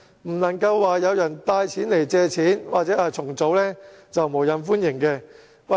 不能有人帶人來借錢或重組便無任歡迎。